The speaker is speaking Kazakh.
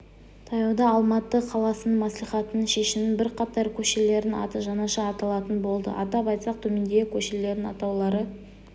таяуда алматы қаласы мәслихатының шешімімен бірқатар көшелердің аты жаңаша аталатын болды атап айтсақ төмендегі көшелердің атаулары